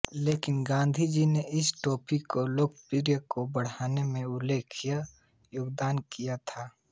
लेकिन गाँधीजी ने इस टोपी की लोकप्रियता को बढाने में उल्लेखनीय योगदान दिया था